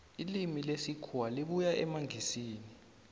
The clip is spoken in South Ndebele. ilimi lesikhuwa libuya emangisini